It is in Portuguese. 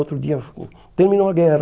Outro dia, terminou a guerra.